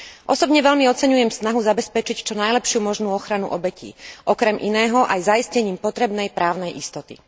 Osobne veľmi oceňujem snahu zabezpečiť čo najlepšiu možnú ochranu obetí okrem iného aj zaistením potrebnej právnej istoty.